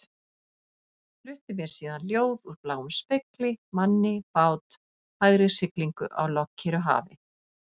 Flutti mér síðan ljóð úr bláum spegli, manni, bát, hægri siglingu á lognkyrru hafi.